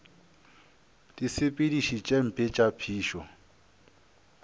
disepediši tše mpe tša phišo